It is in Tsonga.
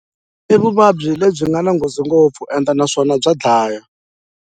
I vuvabyi lebyi byi nga na nghozi ngopfu and naswona bya dlaya.